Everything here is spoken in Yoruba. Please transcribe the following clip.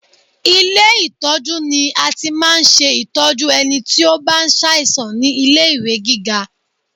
Ilé ìtọ́jú ni a ti máa ń ṣe ìtọ́jú ẹni tí ó bá ń sàìsàn ní ilé-ìwé gíga